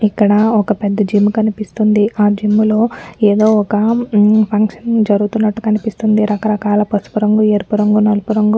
ఇక్కడ ఒక్క పెద్ద జిమ్ కనిపిస్తుంది. ఆ జిమ్ లొ ఏదో ఒక్కా ఫంక్షన్ జరుగుతున్నట్లుగా కనిపిస్తుంది. రకరకాల పసుపు రంగు ఎరుపు రంగు నలుపు రంగు --